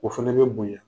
O fɛnɛ bɛ bonya